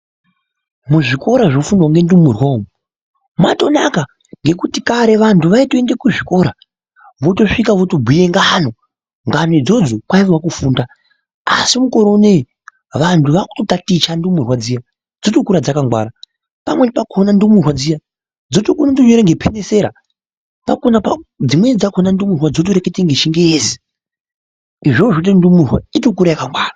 Muzvikora munofundwa ngendumurwa umu matonaka ngendaa yekuti kare vantu vaiende kuzvikora vosvika votobhuya ngano, ngano idzodzo kwai a kufunda asi mukore unowu vantu vakutotaticha ndumurwa dziya dzokura dzakangwara pamwe pakhona ndumurwa dziya dzotokona kutonyora ngepenisera dzimweni dzakhona ndumurwa dzotoreketa ngechingezi, izvozvo zvinoita kuti ndumurwa itokura yakangwara.